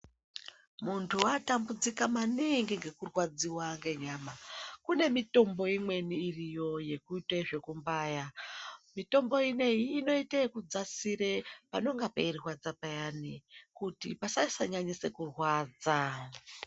Muntu watambudzika maningi ngekurwadziwa ngenyama, kune mitombo imweni iriyo yekuite zvekubaya. Mitombo ineyi inoite yekudzasire panonga peirwadza payani kuti pasasanyanyise kurwadza.